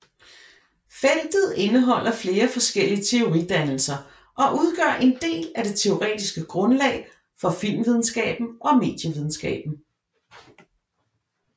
Feltet indeholder flere forskellige teoridannelser og udgør en del af det teoretiske grundlag for filmvidenskaben og medievidenskaben